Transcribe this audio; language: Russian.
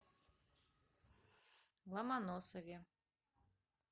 ломоносове